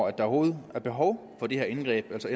at der overhovedet er behov for det her indgreb altså